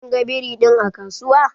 Kin ga biri din a kasuwa?